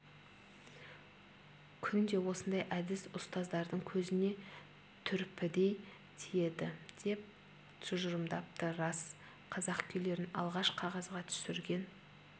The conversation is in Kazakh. күнде ондай әдіс ұстаздардың көзіне түрпідей тиеді деп тұжырымдапты рас қазақ күйлерін алғаш қағазға түсірген